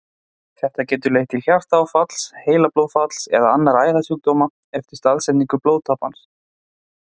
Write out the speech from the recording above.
Þetta getur leitt til hjartaáfalls, heilablóðfalls eða annarra æðasjúkdóma eftir staðsetningu blóðtappans.